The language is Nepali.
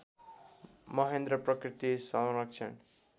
महेन्द्र प्रकृति संरक्षण